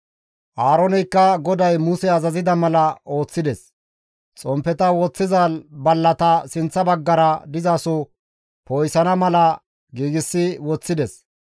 Aarooneykka GODAY Muse azazida mala ooththides; xomppeta istta bolla woththiza ballatappe sinththa baggara dizasoza poo7isana mala giigsi woththides.